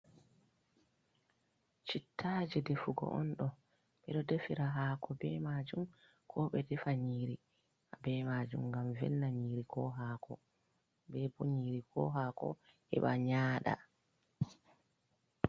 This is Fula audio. Shittaje defugo on ɗo, ɓeɗo defira hako be majum ko be defa nyiri be majum ngam velna nyiri ko hako, ɓe bo nyiri ko hako heɓa nyaɗa.